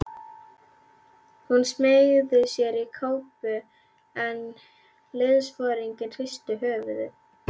Hún smeygði sér í kápu en liðsforinginn hristi höfuðið.